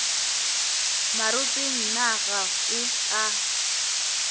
maropeng na ga o a